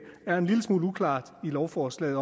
er en lille smule uklart i lovforslaget